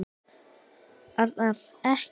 Arnar. ekki!